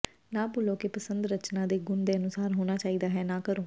ਨਾ ਭੁੱਲੋ ਕਿ ਪਸੰਦ ਰਚਨਾ ਦੇ ਗੁਣ ਦੇ ਅਨੁਸਾਰ ਹੋਣਾ ਚਾਹੀਦਾ ਹੈ ਨਾ ਕਰੋ